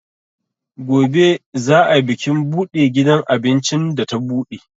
Gobe za ai bikin buɗe gidan abincin da ta buɗe.